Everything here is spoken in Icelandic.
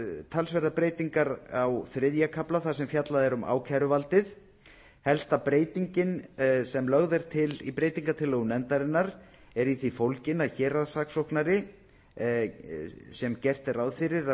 talsverðar breytingar á þriðja kafla þar sem fjallað er um ákæruvaldið helsta breytingin sem lögð er til í breytingartillögum nefndarinnar er í því fólgin að héraðssaksóknari sem gert er ráð fyrir að